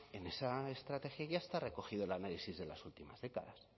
en esa estrategia ya está recogido el análisis de las últimas décadas